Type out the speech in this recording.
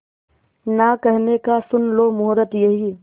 ना कहने का सुन लो मुहूर्त यही